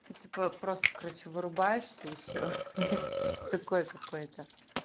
просто короче врубаешься и все такое какой-то